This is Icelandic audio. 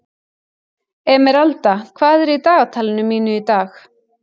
Emeralda, hvað er í dagatalinu mínu í dag?